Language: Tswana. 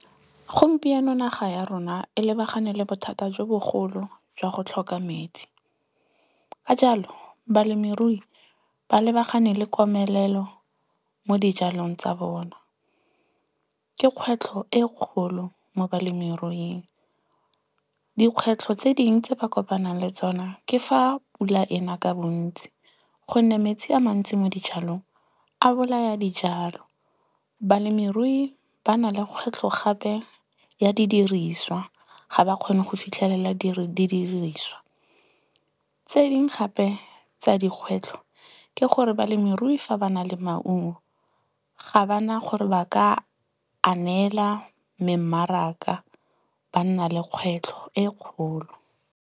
Gompieno naga ya rona e lebagane le bothata jo bogolo jwa go tlhoka metsi. Ka jalo, balemirui ba lebagane le komelelo mo dijalong tsa bona. Ke kgwetlho e kgolo mo balemiruing. Dikgwetlho tse dingwe tse ba kopanang le tsona ke fa pula ena ka bontsi. Gonne metsi a mantsi mo dijalong, a bolaya dijalo. Balemirui ba na le kgwetlho gape ya didiriswa. Ga ba kgone go fitlhelela didiriswa. Tse dingwe gape tsa dikgwetlho ke gore balemirui fa ba na le maungo, ga bana gore ba ka a nela memmaraka ba nna le kgwetlho e kgolo.